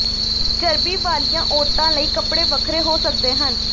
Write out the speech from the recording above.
ਚਰਬੀ ਵਾਲੀਆਂ ਔਰਤਾਂ ਲਈ ਕੱਪੜੇ ਵੱਖਰੇ ਹੋ ਸਕਦੇ ਹਨ